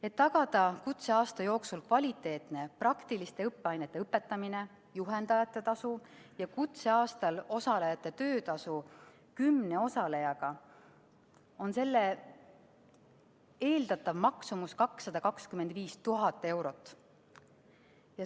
Et tagada kutseaasta jooksul kvaliteetne praktiliste õppeainete õpetamine, juhendajate tasu ja kutseaastal osalejate töötasu 10 osalejale, on selle eeldatav maksumus 225 000 eurot.